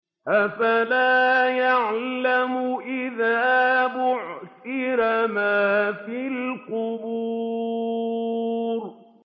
۞ أَفَلَا يَعْلَمُ إِذَا بُعْثِرَ مَا فِي الْقُبُورِ